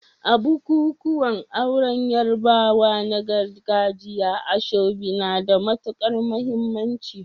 A bukukuwan auren Yarbawa na gargajiya, asoebi na da matukar muhimmanci.